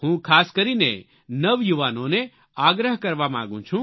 હું ખાસ કરીને નવયુવાનોને આગ્રહ કરવા માંગુ છું